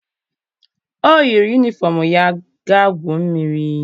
O yiri yunifọm ya ga guo mmiri.